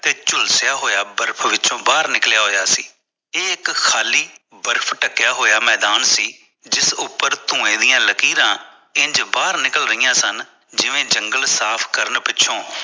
ਤੇ ਝੁਲਸਿਆ ਹੋਇਆ ਬਰਫ਼ ਵਿੱਚੋ ਬਾਹਰ ਨਿਕਲਿਆ ਹੋਇਆ ਸੀ ਇਹ ਇਕ ਖ਼ਾਲੀ ਬਰਫ਼ ਤੱਕਿਆ ਹੋਇਆ ਮੈਦਾਨ ਸੀ ਜਿਸ ਉਪਰ ਧੂਏ ਦੀ ਲਕੀਰਾਂ ਇੰਜ ਬਾਹਰ ਨਿਕਲ ਰਹੀਆਂ ਸਨ ਜਿਵੇਂ ਜੰਗਲ ਸਾਫ਼ ਕਰਨ ਪਿੱਛੋਂ